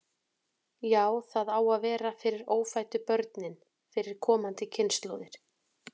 Jú, það á að vera fyrir ófæddu börnin, fyrir komandi kynslóðir.